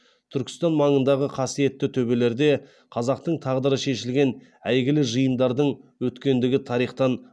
түркістан маңындағы қасиетті төбелерде қазақтың тағдыры шешілген әйгілі жиындардың өткендігі тарихтан